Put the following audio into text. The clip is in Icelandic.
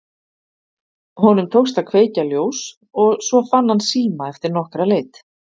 Honum tókst að kveikja ljós og svo fann hann síma eftir nokkra leit.